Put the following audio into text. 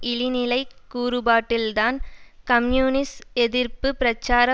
இழிநிலைக் கூறுபாட்டில்தான் கம்யூனிச எதிர்ப்பு பிரச்சார